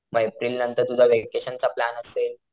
मग एप्रिल नंतर तुझा व्हॅकेशन चा प्लॅन असेल,